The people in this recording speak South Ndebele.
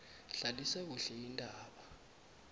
hlalisa kuhle indaba